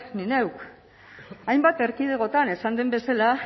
nik neuk hainbat erkidegotan esan den bezala